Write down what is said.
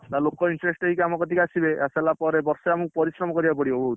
ତାପରେ ଲୋକ interest ହେଇ ଆମ ପାଖକୁ ଆସିବେ, ଆସିସାଇଲା ପରେ ବର୍ଷେ ଆମକୁ ପରିଶ୍ରମ କରିବାକୁ ପଡିବ ବୋହୁତ।